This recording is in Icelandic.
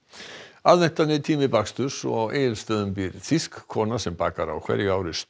aðventan er tími baksturs og á Egilsstöðum býr þýsk kona sem bakar á hverju ári